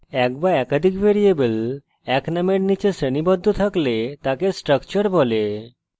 when বা একাধিক variable when নামের নিচে শ্রেণীবদ্ধ থাকলে তাকে structure বলে